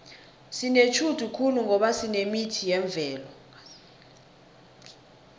sinetjhudu khulu ngoba sinemithi yemvelo